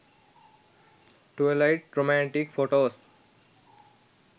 twilight romantic photos